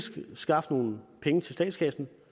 skaffe nogle penge til statskassen